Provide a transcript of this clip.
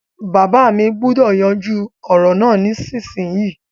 Bàbá mi gbúdọ̀ yanjú ọ̀rọ̀ náà nísinsinyì